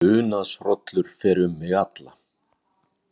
Unaðshrollur fer um mig alla.